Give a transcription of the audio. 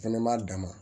Fɛnɛ b'a dama